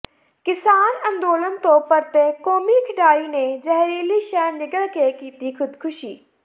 ਕਿਸਾਨ ਅੰਦੋਲਨ ਤੋਂ ਪਰਤੇ ਕੌਮੀ ਖਿਡਾਰੀ ਨੇ ਜ਼ਹਿਰੀਲੀ ਸ਼ੈਅ ਨਿਗਲ ਕੇ ਕੀਤੀ ਖ਼ੁਦਕੁਸ਼ੀ